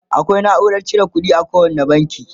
akwai naurar cire ƙuɗi a kowani banki